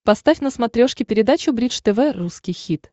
поставь на смотрешке передачу бридж тв русский хит